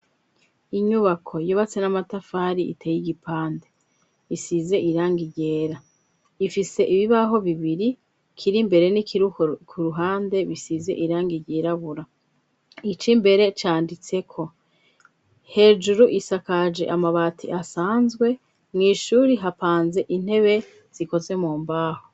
inyubako yubatswe n'amatafari iteye igipande bisize irangigera ifise ibibaho bibiri kiri mbere n'ikiruhu ku ruhande bisize irang igerabura ico mbere cyanditse ko hejuru isakaje amabati asanzwe mu ishuri hapanze intebe zikoze mu mbaho.